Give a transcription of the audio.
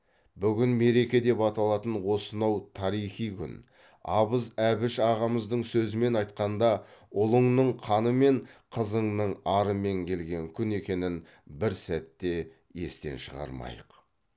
бүгін мереке деп аталатын осынау тарихи күн абыз әбіш ағамыздың сөзімен айтқанда ұлыңның қанымен қызыңның арымен келген күн екенін бір сәт те естен шығармайық